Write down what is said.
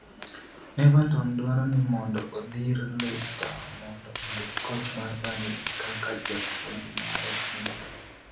Everton dwaro ni mondo odhir Leicester mondo ondik koch mar Burnley kaka japuonj mare manyien